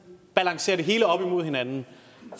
balancerer det hele op imod hinanden